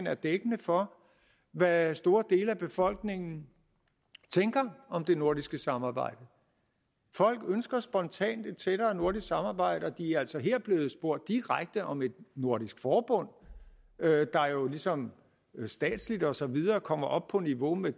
er dækkende for hvad store dele af befolkningen tænker om det nordiske samarbejde folk ønsker spontant et tættere nordisk samarbejde og de er altså her blevet spurgt direkte om et nordisk forbund der jo ligesom statsligt og så videre kommer op på niveau med